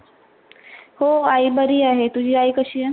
हो आई बरी अहे. तुझी आई कशी आहे?